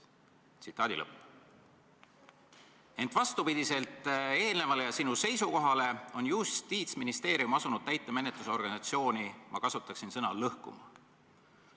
Ent vastupidi eelnevale ja sinu seisukohale on Justiitsministeerium asunud täitemenetluse organisatsiooni lõhkuma, ma kasutaksin seda sõna.